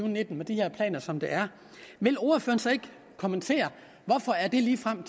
og nitten med de her planer som der er vil ordføreren så ikke kommentere hvorfor han ligefrem